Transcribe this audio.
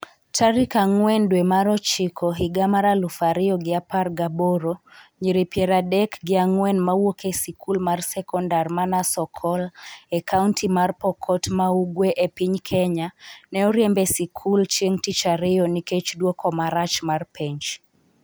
tarik ang'wen dwe mar ochiko higa mar aluf ariyo gi apar gaboro Nyiri piero adek gi ang'wen mawuok e sikul mar sekondar mar Nasokol e kaonti mar Pokot ma ugwe e piny Kenya ne oriemb e sikul chieng' tich ariyo nikech duoko marach mar penj.